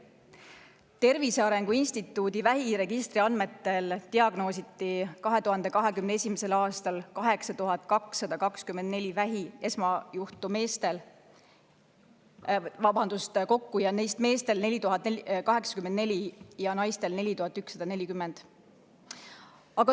Tervise Arengu Instituudi vähiregistri andmetel diagnoositi 2021. aastal 8224 vähi esmasjuhtu, neist meestel 4084 ja naistel 4140.